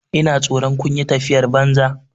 Ina tsoron kun yi tafiyar banza.